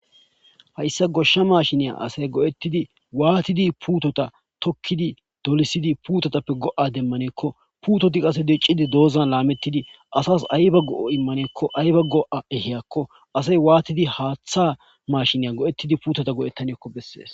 Hayssa goshsha mashshine asay go'ttidi watidi puuteta tokidi dolisidi puutetape go'a demanne gikko puuteti qasse diccidi doozan lametidi asas ayba go7a imanako ayba go7a ehiyako asay watidi haththa mashine go7etidi puuteta go7etanako beses.